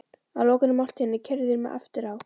Að lokinni máltíðinni keyrðu þeir mig aftur á